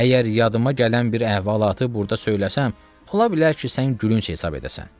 Əgər yadıma gələn bir əhvalatı burda söyləsəm, ola bilər ki, sən gülünc hesab edəsən.